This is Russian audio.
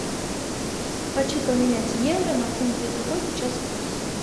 хочу поменять евро на фунты какой сейчас курс